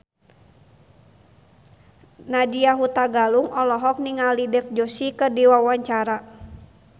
Nadya Hutagalung olohok ningali Dev Joshi keur diwawancara